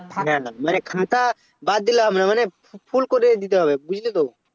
না না মানে খাতা বাদ দিলে হবে না মানে Fu~ full করে দিতে হবে বুঝলে তো